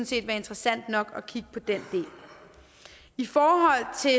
set være interessant nok at kigge på den del i forhold til